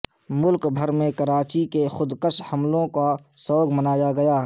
ملک بھر میں کراچی کے خودکش حملوں کا سوگ منایا گیا